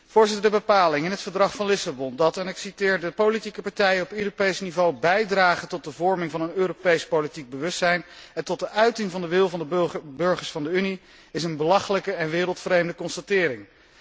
Voorzitter, de bepaling in het Verdrag van Lissabon dat en ik citeer de politieke partijen op Europees niveau bijdragen tot de vorming van een Europees politiek bewustzijn en tot de uiting van de wil van de burgers van de Unie is een belachelijke en wereldvreemde constatering.